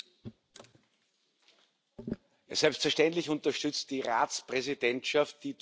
Selbstverständlich unterstützt die Ratspräsidentschaft die durch Sie angesprochenen Themen.